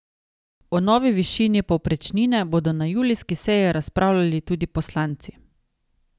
O novi višini povprečnine bodo na julijski seji razpravljali tudi poslanci.